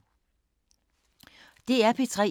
DR P3